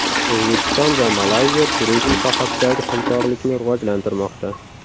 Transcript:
O‘zbekiston va Malayziya turizm sohasidagi hamkorlikni rivojlantirmoqda.